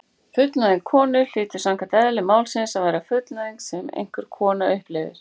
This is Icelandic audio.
Fullnæging konu hlýtur samkvæmt eðli máls að vera fullnæging sem einhver kona upplifir.